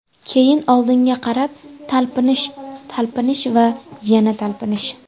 Keyin oldinga qarab talpinish, talpinish va yana talpinish.